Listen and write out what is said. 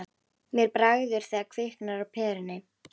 Mér bregður þegar kviknar á perunni